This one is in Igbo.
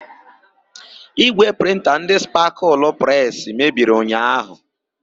Ígwè prịnta ndị Spakụlụ Presi mebiri ụnyaahụ.